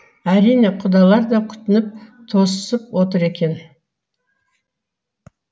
әрине құдалар да күтініп тосып отыр екен